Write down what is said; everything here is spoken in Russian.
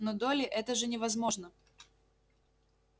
но долли это же невозможно